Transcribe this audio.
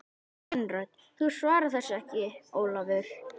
Kvenrödd: Þú svarar þessu ekki Ólafur!